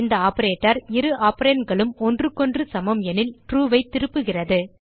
இந்த ஆப்பரேட்டர் இரு operandகளும் ஒன்றுக்கொன்று சமம் எனில் ட்ரூ ஐ திருப்புகிறது